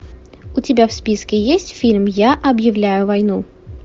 у тебя в списке есть фильм я объявляю войну